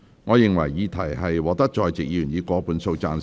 我認為議題獲得在席議員以過半數贊成。